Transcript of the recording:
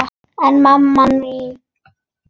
En mamma þín?